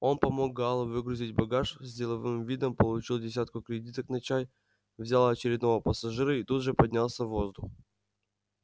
он помог гаалу выгрузить багаж с деловым видом получил десятку кредиток на чай взял очередного пассажира и тут же поднялся в воздух